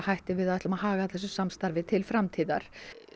við ætlum að haga þessu samstarfi til framtíðar